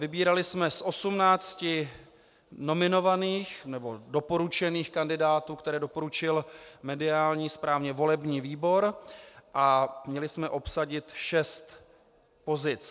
Vybírali jsme z 18 nominovaných, nebo doporučených kandidátů, které doporučil mediální správně volební výbor, a měli jsme obsadit šest pozic.